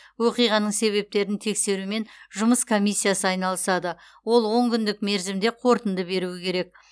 оқиғаның себептерін тексерумен жұмыс комиссиясы айналысады ол он күндік мерзімде қорытынды беруі керек